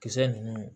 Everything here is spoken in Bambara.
Kisɛ ninnu